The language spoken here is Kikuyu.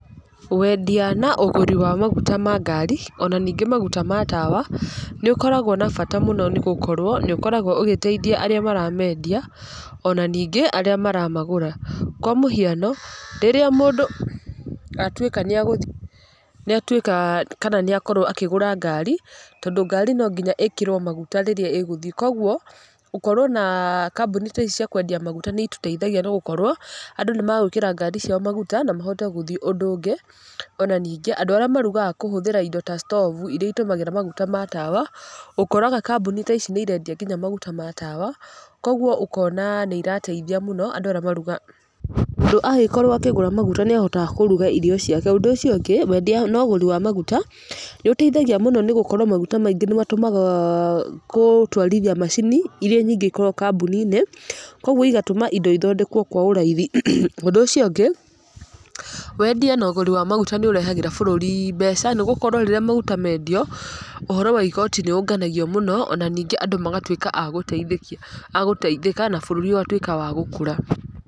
Wendia na ũgũri wa maguta ma ngari, ona ningĩ maguta ma tawa, nĩũkoragwa na bata mũno nĩgũkorwo nĩũkoragwo ũgĩteithia arĩa maramendia ona ningĩ arĩa maramagũra, kwa mũhiano rĩrĩa mũndũ atuĩka kana nĩakorwo akĩgũra ngari tondũ ngari nonginya ĩkĩrwe maguta rĩrĩa ĩgũthii kwoguo gũkorwo kambuni ta ici cia kwendia maguta nĩitũteithagia nĩgũkorwo andũ nĩmegwĩkĩra ngari ciao maguta na mahote gũthii, ũndũ ũngĩ ona andũ arĩa marugaga kũhũthĩra indo ta stobu irĩa itũmagĩra maguta ma tawa ,ũkoraga kambũni ta ici nĩirendia nginya maguta ma tawa, kwoguo ũkona nĩirateithia mũno andũ arĩa marugaga, tondũ angĩkorwo akĩgũra maguta nĩahotaga kũruga irio ciake, ũndũ ũcio ũngĩ wendia wa maguta nĩũteithagia mũno nĩgũkorwo maguta maingĩ nĩmatũmaga gũtwarithia macini irĩa nyingĩ ikoragwa kambũninĩ kwoguo igatũma indo othondekwe kwa ũraithi, ũndũ ũcio ũngĩ wendia na ũgũri wa maguta nĩũreharĩra bũrũri mbeca nĩgũkorwa rĩrĩa maguta mendio ũhoro wa igoti nĩũnganagio mũno na ningĩ andũ magatuĩka agũteithĩka na bũrũri ũgatuĩka wa gũkũra.